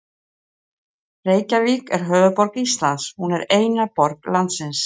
Reykjavík er höfuðborg Íslands. Hún er eina borg landsins.